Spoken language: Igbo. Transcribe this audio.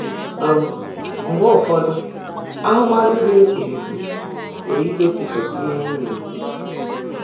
um Mgbe ụfọ́dụ́, áhụ́máhụ́ ḍị́ mkpìríkpi pụ́rụ́ ígósị́pụ́tá íhe á ná-èkwú